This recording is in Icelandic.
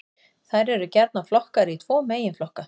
Þær eru gjarnan flokkaðar í tvo meginflokka.